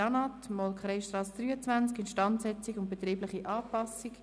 LANAT, Molkereistrasse 23, Instandsetzungen und betriebliche Anpassungen.